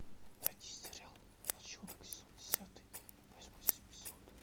найди сериал волчонок сезон десятый восьмой эпизод